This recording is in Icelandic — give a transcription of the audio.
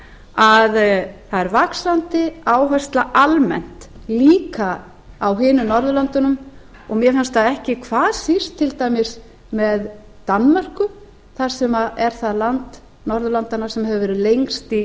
að það er vaxandi áhersla almennt líka á hinum norðurlöndunum og mér fannst það ekki hvað síst til dæmis með danmörku sem er það land norðurlandanna sem hefur verið lengst í